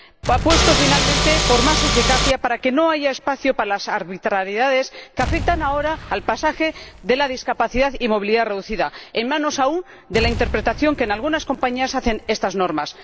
Apuesta, por último, por más eficacia para que no haya espacio para las arbitrariedades que afectan ahora al pasaje con discapacidad y movilidad reducida, en manos aún de la interpretación que algunas compañías hacen de estas normas.